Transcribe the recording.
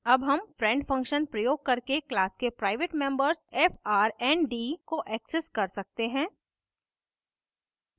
अब हम friend function प्रयोग करके class के प्राइवेट members frnd को access कर सकते हैं